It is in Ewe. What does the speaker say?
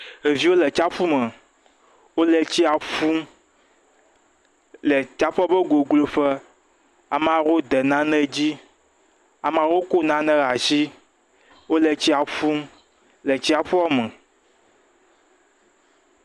Ɖeviwo le tsiaƒu me. Wòle tsia ƒum le tsiaƒua ƒe goglo ƒe. Amewo de nane dzi. Ameawo le tsia ƒum le tsiaƒua me.